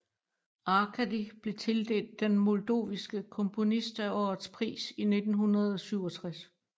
Arkady blev tildelt den moldoviske komponist af årets pris i 1967